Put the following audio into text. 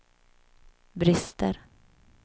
brister